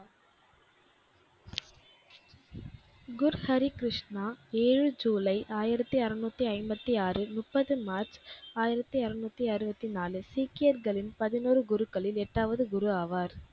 குரு ஹரிகிருஷ்ணா ஏழு ஜூலை ஆயிரத்தி ஆறுநூத்தி ஐம்பத்தி ஆறு முப்பது மார்ச் ஆயிரத்தி அருநூத்தி அறுபத்தி நாலு சீக்கியர்களின் பதினொரு குருக்களில் எட்டாவது குரு ஆவார்.